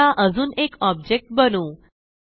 आता अजून एक ऑब्जेक्ट बनवू